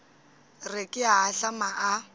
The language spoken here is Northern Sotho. re ke a ahlama a